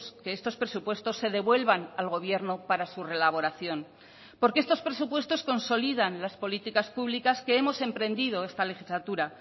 que estos presupuestos se devuelvan al gobierno para su relaboración porque estos presupuestos consolidan las políticas públicas que hemos emprendido esta legislatura